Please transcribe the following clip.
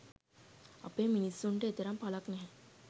අපේ මිනිසුන්ට එතරම් පලක් නැහැ.